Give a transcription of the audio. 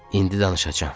indi danışacam.